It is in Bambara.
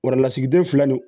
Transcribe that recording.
Wari lasigiden filɛ nin